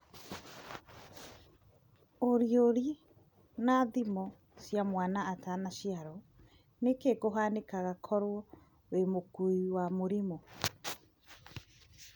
Ũriũri na ithimo cia mwana atanaciarwo,:nĩkĩ kĩhanikaga koro wĩ mũkui wa mũrimũ?